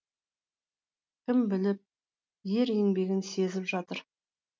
кім біліп ер еңбегін сезіп жатыр